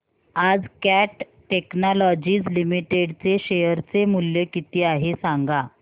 आज cat technologies limited चे share चे मूल्य किती आहे सांगा